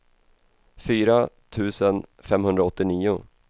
fyra tusen femhundraåttionio